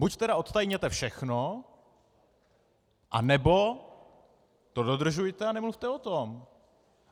Buď tedy odtajněte všechno, anebo to dodržujte a nemluvte o tom.